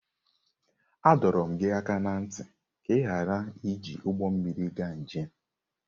A dọrọ gị aka ná ntị ka ị ghara iji ụgbọ mmiri gaa njem!